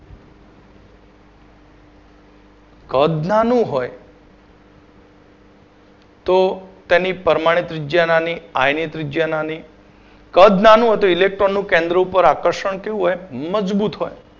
કદ નાનું હો તો તેની પરમાણિત ત્રિજ્યા નાની આય ની ત્રિજ્યા નાની કદ નાનું હોય તો Electron નું કેન્દ્ર ઉપર આકર્ષણ કેવું હોય મજબૂત હોય